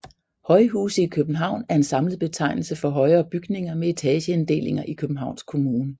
Højhuse i København er en samlet betegnelse for højere bygninger med etageinddelinger i Københavns Kommune